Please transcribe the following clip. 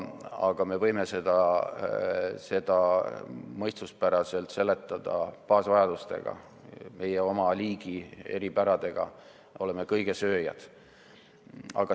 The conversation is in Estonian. Aga me võime seda mõistuspäraselt seletada baasvajadustega, meie oma liigi eripäradega, me oleme kõigesööjad.